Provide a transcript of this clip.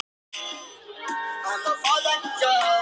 Komdu að dansa